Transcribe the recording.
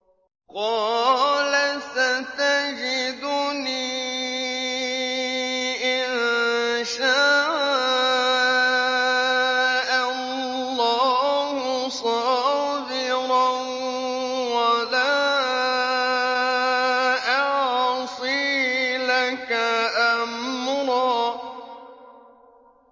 قَالَ سَتَجِدُنِي إِن شَاءَ اللَّهُ صَابِرًا وَلَا أَعْصِي لَكَ أَمْرًا